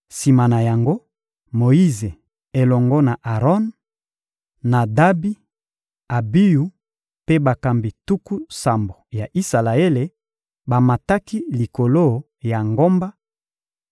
Sima na yango, Moyize elongo na Aron, Nadabi, Abiyu mpe bakambi tuku sambo ya Isalaele, bamataki likolo ya ngomba